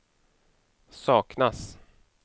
saknas